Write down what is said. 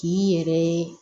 K'i yɛrɛ ye